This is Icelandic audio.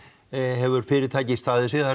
hefur fyrirtækið staðið sig það